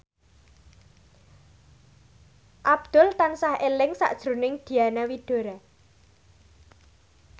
Abdul tansah eling sakjroning Diana Widoera